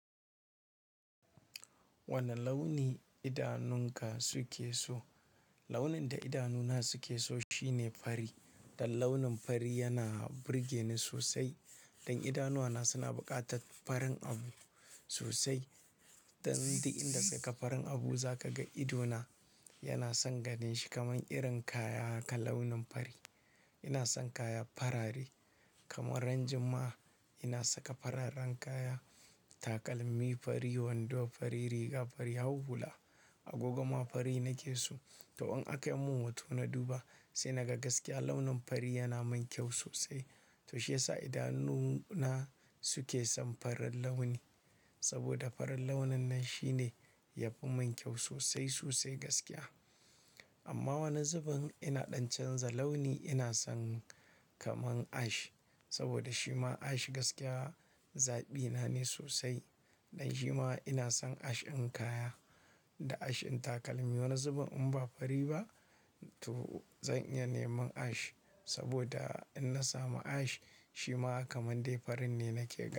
Wane launi idanunka suke so? Launin da idanuna suke so shine fari. Dan launin fari yana burge ni sosai. Dan idanuwana suna buƙatar farin abu sosai. Dan duk inda kaga farin abu za ka ga idona yana son ganin shi. Kaman irin kaya kalaunin fari. Ina son kaya farare kamar ran juma'a ina saka fararen kaya, takalmi fari, wando fari, riga fari, hau hula agogoma fari nake so. To an aka mun hot na duba, sai na ga gaskiya launin fari yana min kyau sosai. To shi yasa idanuna suke son farin launi. Saboda farin launin nan shine yafi min kyau sosai sosai gaskiya. Amma wane zubin ina ɗan canza launi ina son kaman ash. Saboda shima ash gaskiya zaɓina ne sosai. Dan shima ina son ash ɗin kaya da ash ɗin takalmi. Wane zubin in ba fari ba to zan iya neman ash. Saboda in na samu ash shima kamar dai farin ne nake ganin.